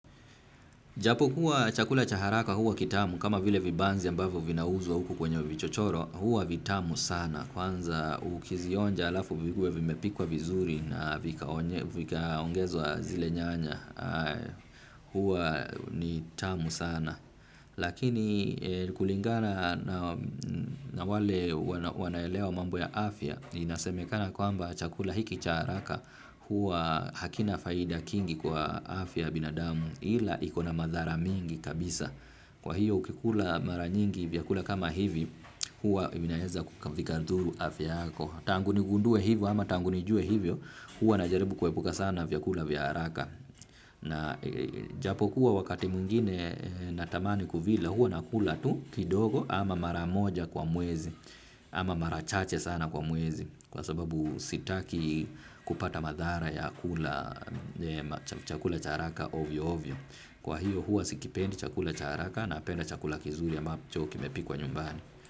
Japo kuwa chakula chaharaka huwa kitamu kama vile vibanzi ambavyo vinauzwa huku kwenye vichochoro huwa vitamu sana kwanza ukizionja alafu vikuwe vimepikwa vizuri na vika ongezwa zile nyanya huwa ni tamu sana. Lakini kulingana na wale wanaelewa mambo ya afya. Inasemekana kwamba chakula hiki cha haraka hua hakina faida kingi kwa afya yabinadamu ila ikona madhara mingi kabisa. Kwa hiyo ukikula mara nyingi vyakula kama hivi hua inaeza vikadhuru afya yako. Tanguni gundue hivyo ama tanguni jue hivyo hua na jaribu kuepuka sana vyakula vyaharaka na japokuwa wakati mwingine natamani kuvila hua nakula tu kidogo ama maramoja kwa mwezi ama marachache sana kwa mwezi kwa sababu sitaki kupata madhara ya kula chakula chaharaka ovyo ovyo kwa hiyo huo sikipendi chakula chaharaka na apenda chakula kizuri ambacho kimepikwa nyumbani.